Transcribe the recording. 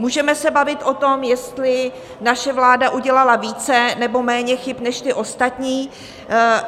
Můžeme se bavit o tom, jestli naše vláda udělala více nebo méně chyb než ty ostatní.